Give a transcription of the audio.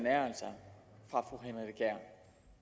er altså